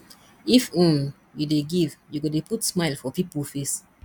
if um you dey give you go dey put smile for pipo face